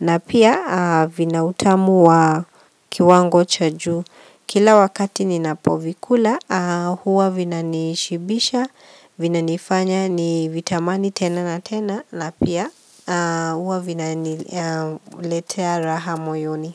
na pia vina utamu wa kiwango cha juu. Kila wakati ninapovikula, huwa vinanishibisha, vinanifanya ni vitamani tena na tena, na pia huwa vinaniletea raha moyoni.